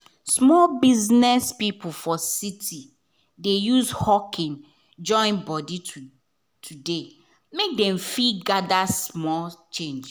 small biz people for city dey use hawking join body make dem fit gather small change.